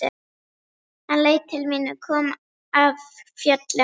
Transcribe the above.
Hann leit til mín, kom af fjöllum.